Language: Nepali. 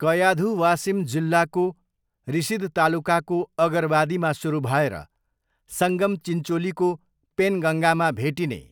कयाधु वासिम जिल्लाको रिसोद तालुकाको अगरवादीमा सुरु भएर सङ्गम चिन्चोलीको पेनगङ्गामा भेटिने